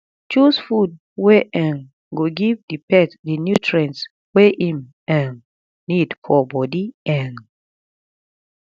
choose food wey um go give di pet di nutrients wey im um need for body um